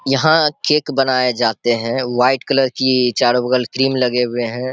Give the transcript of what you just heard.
यहाँ केक बनाए जाते हैं। वाइट कलर की चारों बगल क्रीम लगे हुए हैं।